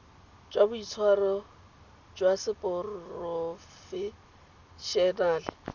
jwa boitshwaro jwa seporofe enale